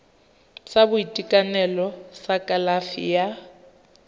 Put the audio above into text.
sa boitekanelo sa kalafi ya